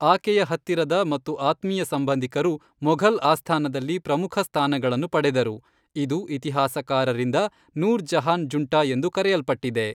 ಆಕೆಯ ಹತ್ತಿರದ ಮತ್ತು ಆತ್ಮೀಯ ಸಂಬಂಧಿಕರು ಮೊಘಲ್ ಆಸ್ಥಾನದಲ್ಲಿ ಪ್ರಮುಖ ಸ್ಥಾನಗಳನ್ನು ಪಡೆದರು, ಇದು ಇತಿಹಾಸಕಾರರಿಂದ ನೂರ್ ಜಹಾನ್ ಜುಂಟಾ ಎಂದು ಕರೆಯಲ್ಪಟ್ಟಿದೆ.